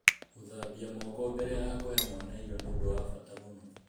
Gũthambia moko mbere ya kũhe mwana irio nĩ ũndũ wa bata mũno.